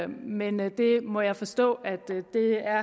men det må jeg forstå at